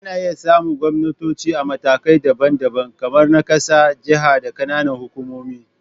Ana iya samun gwamnatoci a matakai daban-daban, kamar na ƙasa, jaha, da ƙananan hukumomi